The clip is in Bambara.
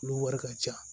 Olu wari ka ca